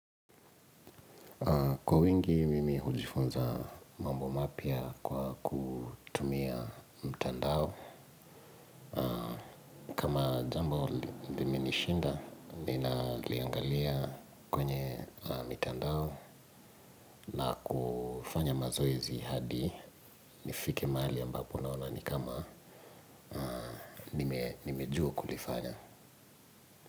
Kwa wingi, mimi hujifunza mambo mapya kwa kutumia mtandao. Kama jambo limenishinda, ninaliangalia kwenye mtandao na kufanya mazoezi hadi nifike mahali ambapo naona ni kama nimejua kulifanya.